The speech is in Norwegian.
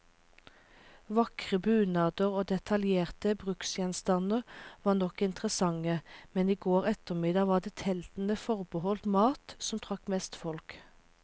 Vakre bunader og detaljerte bruksgjenstander var nok interessante, men i går ettermiddag var det teltene forbeholdt mat, som trakk mest folk.